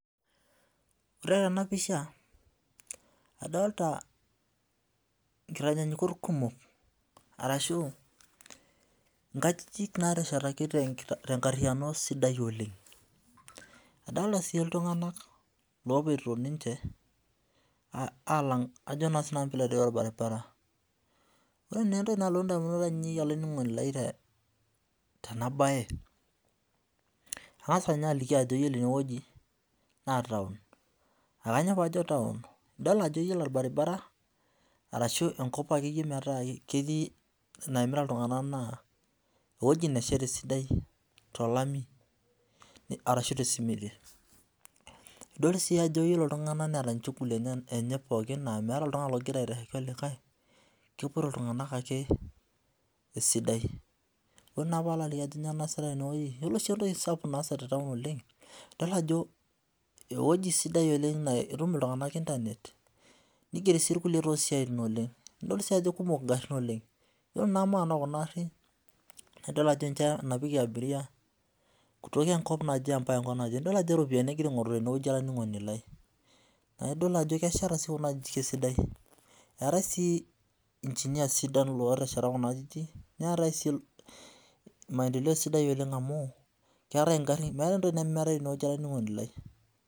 Wore tena pisha, adoolta inkitanyanyukot kumok arashu inkajijik naateshetaki tenkariyiano sidai oleng'. Adoolta sii iltunganak loopoito ninche aalang ajo naa sinanu piilo aitereu olbaribara. Wore naa entoki nalotu indamunot aiinei olaininingoni lai tena baye. Angas ninye aliki ajo yiolo ene wueji, naa town. Ainyoo paajo town, idol ajo wore olbaribara arashu enkop akeyie metaa ketii naimita iltunganak naa ewueji nasheta esidai tolami arashu tesimiti. Idol sii ajo yiolo iltunganak neeta inchuguli enye pookin naa meeta oltungani okira aitashoki olikae, kepoito iltunganak ake esidai. Wore naa paalo aliki ajo inyoo nakira aasa tenewoji, yiolo oshi entoki sapuk naasa, idol ajo ewoji sidai oleng naa itum oltunganak internet, nigieri sii irkulie toosiatin oleng'. Nidol sii ajo kekumok ingarin oleng'. Yiolo naa maana ookuna arrin, naa idol ajo ninche enapikie abiria, kutoka enkop naje ambaka enkop naje, nidol ajo iropiyani ekirae aingorru tenewoji olaininingoni lai. Naa idol ajo kesheta sii kuna ajijik esidai. Eetae sii engineers sidan ootesheta kuna ajijik, neetae sii maendeleo sidai amu, keetae inkarrin meeta entoki nemeetai tenewoji olaininingoni lai.